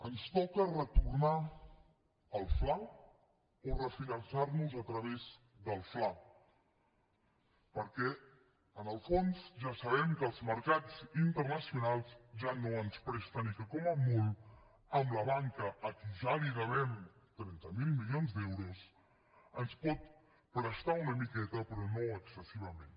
ens toca retornar al fla o refinançar nos a través del fla perquè en el fons ja sabem que els mercats internacionals ja no ens presten i que com a molt la banca a qui ja li devem trenta miler milions d’euros ens pot prestar una miqueta però no excessivament